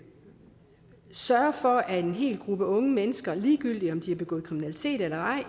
sørge for at en hel gruppe unge mennesker ligegyldigt om de har begået kriminalitet eller ej